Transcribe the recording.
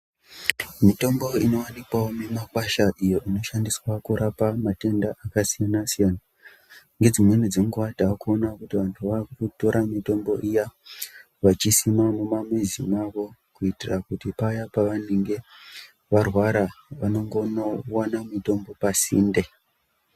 Mitombo inowanikwawo mumakwasha iyo inoshandiswa kurapa matenda akasiyana-siyana, ngedzimweni dzenguwa takuona kuti vantu vakutora mitombo iyaaa vachisima mumamizi mawo kuitira kuti paya pavanenge varwara vanongowana mutombo pasinde.